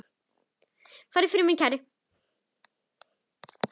Farðu í friði, minn kæri.